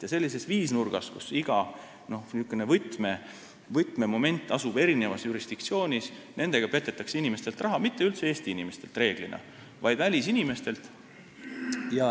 Ja sellises viisnurgas, kus iga n-ö võtmemoment asub erinevas jurisdiktsioonis, petetakse inimestelt raha – üldse mitte Eesti inimestelt, vaid enamasti välisinimestelt.